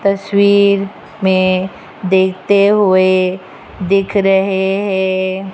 तस्वीर में देखते हुए दिख रहे है।